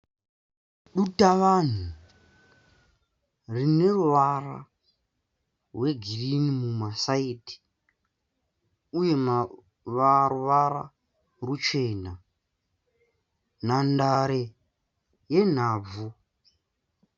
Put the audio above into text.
Dutavanhu rine ruvara rwegirini mumasaidhi uye ruvara ruchena, nhandare yenhabvu.